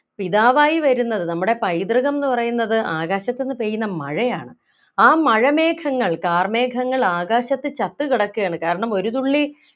പിതാവായി വരുന്നത് നമ്മുടെ പൈതൃകംന്ന് പറയുന്നത് ആകാശത്ത് നിന്ന് പെയ്യുന്ന മഴയാണ് ആ മഴമേഘങ്ങൾ കാർമേഘങ്ങൾ ആകാശത്ത് ചത്തു കിടക്കാണ് കാരണം ഒരു തുള്ളി